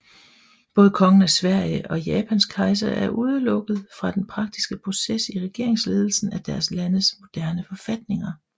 Både Kongen af Sverige og Japans kejser er udelukket fra den praktiske proces i regeringsledelsen af deres landes moderne forfatninger